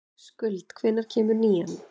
Skuld, hvenær kemur nían?